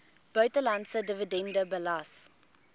buitelandse dividende belas